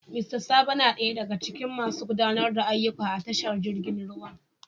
Mista Sabo na daya daga cikin masu gudanar da ayyuka a tashar jirgi ruwan.